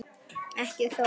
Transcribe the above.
Ekki þó alltaf.